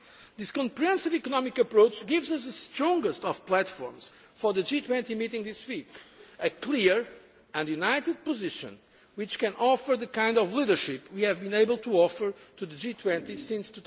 years. This comprehensive economic approach gives us the strongest of platforms for the G20 meeting this week, a clear and united position which can offer the kind of leadership we have been able to offer to the G20